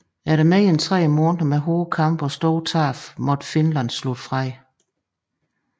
Efter mere end tre måneder med hårde kampe og store tab måtte Finland slutte fred